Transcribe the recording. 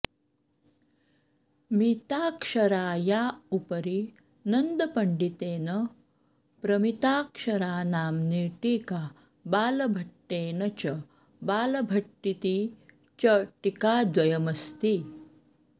मिताक्षराया उपरि नन्दपण्डितेन प्रमिताक्षरानाम्नी टीका बालभट्टेन च बालभट्टीति च टीकाद्वयमस्ति